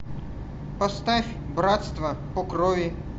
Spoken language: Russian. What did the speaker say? поставь братство по крови